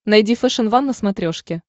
найди фэшен ван на смотрешке